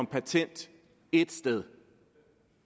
patent et sted